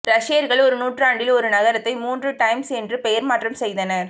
ரஷ்யர்கள் ஒரு நூற்றாண்டில் ஒரு நகரத்தை மூன்று டைம்ஸ் என்று பெயர் மாற்றம் செய்தனர்